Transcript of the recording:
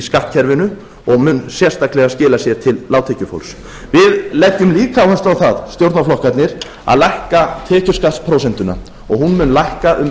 skattkerfinu og mun sérstaklega skila sér til lágtekjufólks við leggjum líka áherslu á það stjórnarflokkarnir að lækka tekjuskattsprósentuna og hún mun lækka um